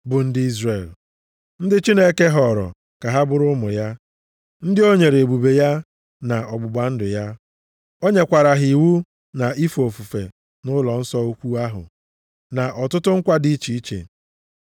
bụ ndị Izrel. Ndị Chineke họọrọ ka ha bụrụ ụmụ ya, ndị o nyere ebube ya na ọgbụgba ndụ ya. O nyekwara ha iwu na ife ofufe nʼụlọnsọ ukwu ahụ na ọtụtụ nkwa dị iche iche.